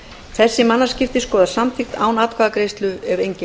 þessi mannaskipti skoðast samþykkt án atkvæðagreiðslu ef enginn hreyfir andmælum